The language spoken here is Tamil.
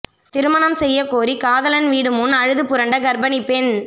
திருமணம் செய்ய கோரி காதலன் வீடு முன் அழுது புரண்ட கர்ப்பிணி பெண்